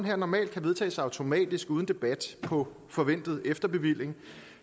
her normalt kan vedtages automatisk uden debat på forventet efterbevilling